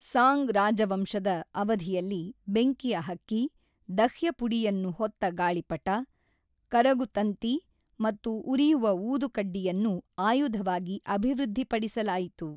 Song ರಾಜವಂಶದ ಅವಧಿಯಲ್ಲಿ ಬೆಂಕಿಯ ಹಕ್ಕಿ, ದಹ್ಯ ಪುಡಿಯನ್ನು ಹೊತ್ತ ಗಾಳಿಪಟ, ಕರಗುತಂತಿ ಮತ್ತು ಉರಿಯುವ ಊದುಕಡ್ಡಿಯನ್ನು ಆಯುಧವಾಗಿ ಅಭಿವೃದ್ಧಿಪಡಿಸಲಾಯಿತು.